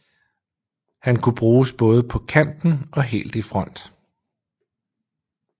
Han kunne bruges både på kanten og helt i front